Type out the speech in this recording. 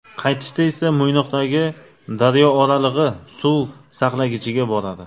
Qaytishda esa Mo‘ynoqdagi Daryooralig‘i suv saqlagichiga boradi.